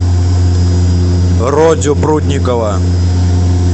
родю прудникова